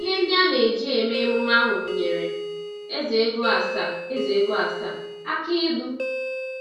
Ihe ndị aneji eme emume ahụ gụnyere eze-ego asaa, eze-ego asaa, akị ilu,